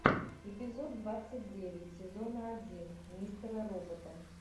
эпизод двадцать девять сезона один мистера робота